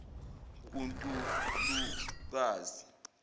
kuntulukazi